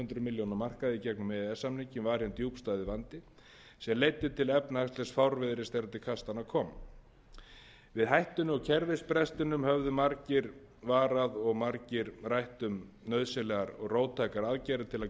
milljóna markaði gegnum e e s samninginn var hinn djúpstæði vandi sem leiddi til efnahagslegsfárviðris þegar til kastanna kom við hækkun á kerfisbrestinum höfðu margir varað og margir rætt um nauðsynlegar róttækar aðgerðir til að gerbreyta um